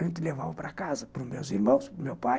A gente levava para casa, para os meus irmãos, para o meu pai,